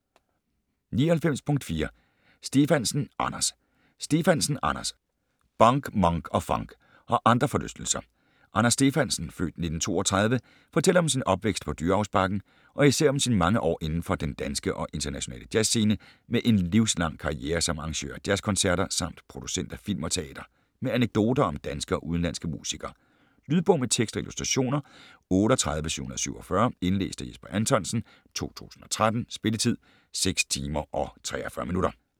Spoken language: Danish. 99.4 Stefansen, Anders Stefansen, Anders: Bunk, Monk & funk - og andre forlystelser Anders Stefansen (f. 1932) fortæller om sin opvækst på Dyrehavsbakken og især om sine mange år indenfor den danske og internationale jazzscene med en livslang karriere som arrangør af jazzkoncerter, samt producent af film og teater. Med anekdoter om danske og udenlandske musikere. Lydbog med tekst og illustrationer 38747 Indlæst af Jesper Anthonsen, 2013. Spilletid: 6 timer, 43 minutter.